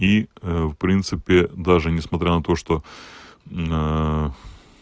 и в принципе даже несмотря на то что